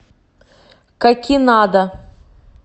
какинада